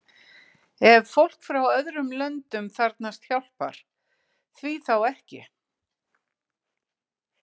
Ef fólk frá öðrum löndum þarfnast hjálpar, því þá ekki?